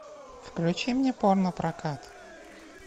включи мне порно прокат